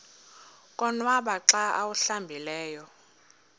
konwaba xa awuhlambileyo